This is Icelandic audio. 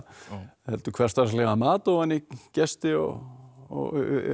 heldur hversdagslegan mat ofan í gesti og